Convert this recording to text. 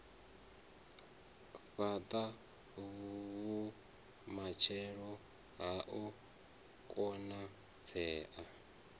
fhata vhumatshelo ha u konadzea